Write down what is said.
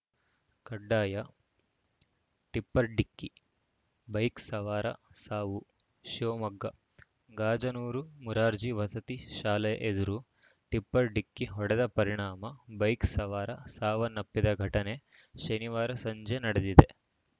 ಕಡ್ಡಾಯ ಟಿಪ್ಪರ್‌ ಡಿಕ್ಕಿ ಬೈಕ್‌ ಸವಾರ ಸಾವು ಶಿವಮೊಗ್ಗ ಗಾಜನೂರು ಮುರಾರ್ಜಿ ವಸತಿ ಶಾಲೆ ಎದುರು ಟಿಪ್ಪರ್‌ ಡಿಕ್ಕಿ ಹೊಡೆದ ಪರಿಣಾಮ ಬೈಕ್‌ ಸವಾರ ಸಾವನ್ನಪ್ಪಿದ ಘಟನೆ ಶನಿವಾರ ಸಂಜೆ ನಡೆದಿದೆ